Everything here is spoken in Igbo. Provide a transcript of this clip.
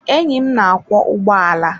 Enyí m na-akwọ ụgbọala.